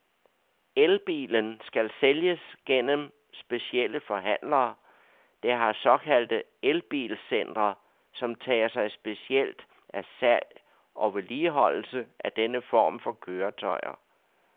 El-bilen skal sælges gennem specielle forhandlere, der har såkaldte el-bil-centre, som tager sig specielt af salg og vedligeholdelse af denne form for køretøjer.